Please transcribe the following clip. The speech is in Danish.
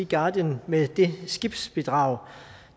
guardian med det skibsbidrag